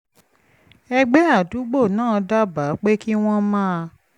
ẹgbẹ́ àdúgbò náà dábàá pé kí wọ́n máa